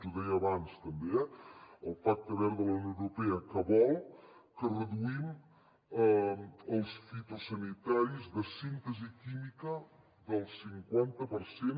ho deia abans també eh el pacte verd de la unió europea que vol que reduïm els fitosanitaris de síntesi química del cinquanta per cent